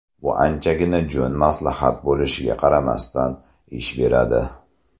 Bu anchagina jo‘n maslahat bo‘lishiga qaramasdan, ish beradi!